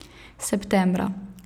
Septembra.